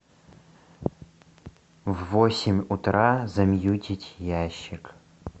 в восемь утра замьютить ящик